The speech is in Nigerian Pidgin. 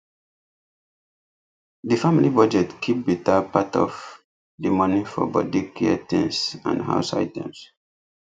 the family budget keep better part of the money for body care things and house items